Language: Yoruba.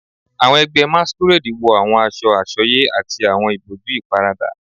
Awọn ẹgbẹ Masquerade wọ awọn aṣọ asọye ati awọn iboju iparada